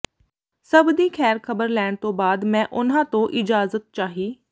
ਸਭ ਦੀ ਖ਼ੈਰ ਖ਼ਬਰ ਲੈਣ ਤੋਂ ਬਾਅਦ ਮੈਂ ਉਨ੍ਹਾਂ ਤੋਂ ਇਜਾਜ਼ਤ ਚਾਹੀ